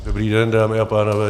Dobrý den, dámy a pánové.